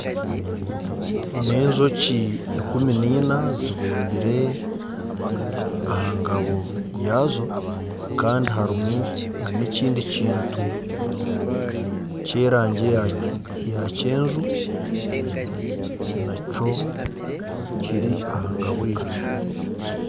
N'enjoki ikumi nina zibumbire aha ngabo yaazo kandi harimu na n'ekindi kintu kyerangi ya kyenju nakyo kiri aha ngabo egyo.